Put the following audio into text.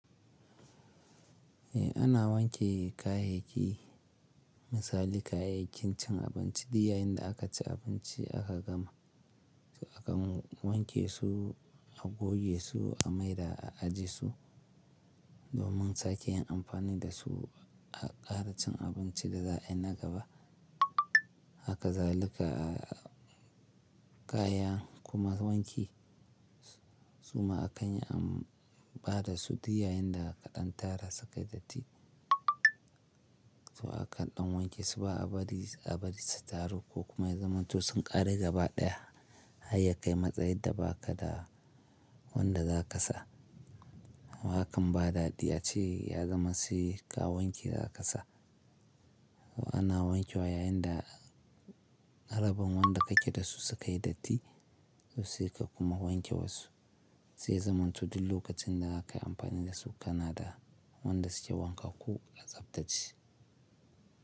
Eh ana wanke kayayyaki, misali kayayyakin cin abinci duk yayinda akaci abinci aka gama. To akan wanke su, a goge su, a maida, a aje su domin sake yin amfani da su a ƙara cin abinci da za a yi na gaba. Haka zalika, kayan kuma wanki suma akanyi an bada su duk yayin da aka ɗan tara sukai datti. To akan ɗan wankesu ba'a bari, a bari su taru ko kuma ya zama to sun ƙare gaba ɗaya. Harya kai matsayinda bakada wanda za ka sa. Hakan ba daɗi ace ya zama saika wanke zakasa. Ana wankewa yayinda haraban wanda kake dasu sukayi datti, tosai ka kuma wanke wasu. Zai zamanto duk lokacinda zakayi amfani dasu kanada wanda suke wankakku kuma tsabtacce.